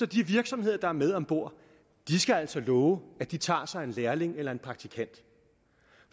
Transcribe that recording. de virksomheder der er med om bord altså love at de tager sig en lærling eller en praktikant